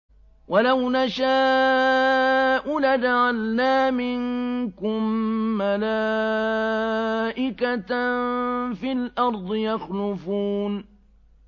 وَلَوْ نَشَاءُ لَجَعَلْنَا مِنكُم مَّلَائِكَةً فِي الْأَرْضِ يَخْلُفُونَ